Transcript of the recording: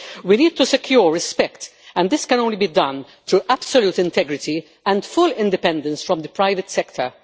We need to secure respect, and this can only be done through absolute integrity and full independence from the private sector.